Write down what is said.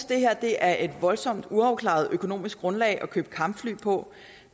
det her er et voldsomt uafklaret økonomisk grundlag at købe kampfly på